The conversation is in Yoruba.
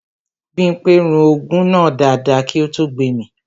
Bímpé rún ògùn náà dáadáa kí ó tó gbemì